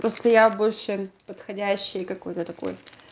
просто я больше подходящей какой-то такой